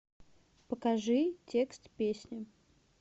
покажи текст песни